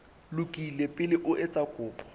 lokile pele o etsa kopo